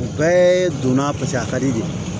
U bɛɛ donna a ka di de ye